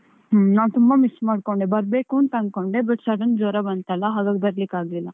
ಹ್ಮ್, ನಾನ್ ತುಂಬ miss ಮಾಡ್ಕೊಂಡೆ, ಬರ್ಬೇಕು ಅಂತ ಅನ್ಕೊಂಡೆ but sudden ಜ್ವರ ಬಂತಲ್ಲ ಹಾಗಾಗಿ ಬರ್ಲಿಕ್ಕಾಗ್ಲಿಲ್ಲ.